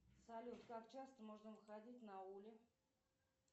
салют как часто можно выходить на ули